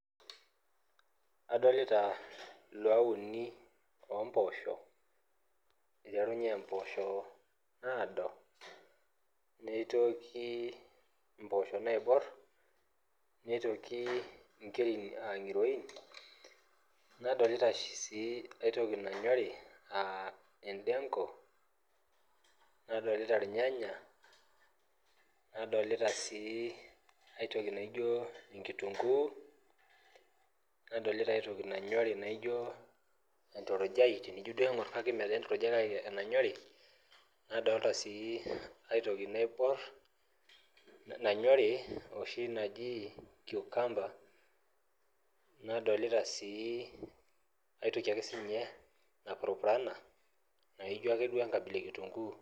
Adolita iluaat uni oo mpoosho iterunye mpoosho naado neitoki naaibor, nitoki nkerin aa ngiroin, nadolita sii aitoki nanyori aa ndenko nadolita irnyanya nadolita sii aitoki naaijo kitunguu, nadolita aitoki nanyori naaijo enturujai kake mmenturujai, nadolita sii aitoki naaibor nanyori oshi naji cucumber nadolita sii aitoki ake sii ninye napurupurana naaijo ake duoo enkabila ekitunguu.